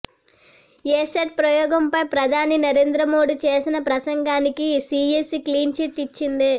ASAT ప్రయోగంపై ప్రధాని నరేంద్ర మోడీ చేసిన ప్రసంగానికి సీఈసీ క్లీన్ చిట్ ఇచ్చింది